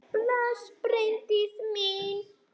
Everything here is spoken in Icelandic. Bless, Bryndís mín!